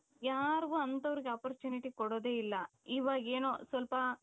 ಯಾರಿಗೂ ಅಂತವರಿಗೆ opportunity ಕೊಡೋದೇ ಇಲ್ಲ ಇವಾಗ ಏನೋ ಸ್ವಲ್ಪ